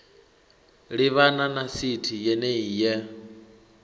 livhana na sithi yenei ye